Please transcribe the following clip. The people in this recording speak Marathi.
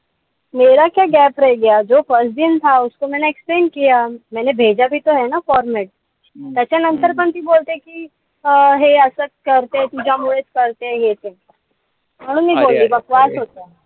extend format त्याच्यानंतर पण ती बोलते कि अं हे असाच करते. तिच्यामुळेच करते. म्हणून मी बोलले बकवास होता दिवस आजचा.